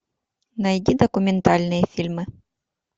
найди документальные фильмы